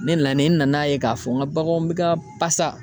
Ne nanen, n nana ye ka fɔ n ka baganw be ka pasa